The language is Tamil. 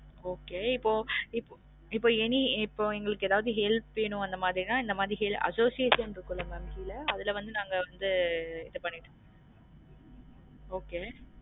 Okay இப்போம் இப்போ இப்போம் any இப்போம் எங்களுக்கு எதாவது help வேணும் அந்த மாதிரினா இந்த மாறி association இருக்கும்ல mam கீழ அதுல வந்து நாங்க வந்து okay